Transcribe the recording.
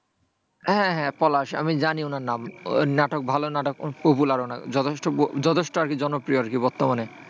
হ্যাঁ হ্যাঁ হ্যাঁ পলাশ। আমি জানি ওনার নাম। ওর নাটাক ভালো নাটক popular উনার যথেষ্ঠ যথেষ্ট আরকি জনপ্রিয় আরকি বর্তমানে।